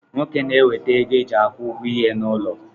Nwoke na-enweta ego e ji akwụ ụgwọ ihe n'ulo